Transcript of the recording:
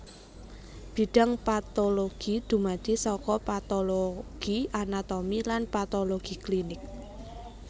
Bidhang patologi dumadi saka patologi anatomi lan patologi klinik